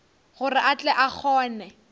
gore a tle a kgone